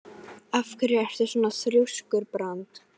Af hverju ertu svona þrjóskur, Brandr?